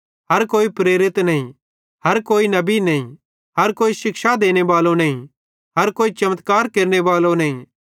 हर कोई प्रेरित नईं हर कोई नबी नईं हर कोई शिक्षा देनेबालो नईं हर कोई चमत्कार केरनेबालो नईं